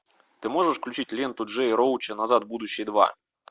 ты можешь включить ленту джея роуча назад в будущее два